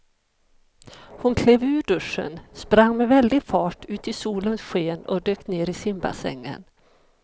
Hon klev ur duschen, sprang med väldig fart ut i solens sken och dök ner i simbassängen.